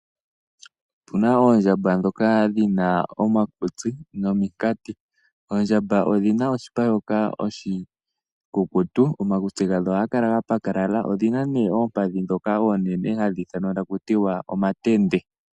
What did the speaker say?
Opu na oondjamba ndhoka dhi na omakutsi nominkati. Oondjamba odhi na oshipa shoka oshikukutu, omakutsi gadho ohaga kala ga pakalala. Odhi na omakondo omanene haga ithanwa taku ti omatende.